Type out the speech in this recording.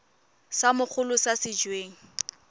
sa mogolo sa se weng